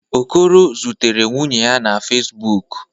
Okoro zutere nwunye ya na Fezbụk.